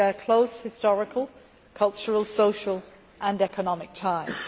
We share close historical, cultural, social and economic ties.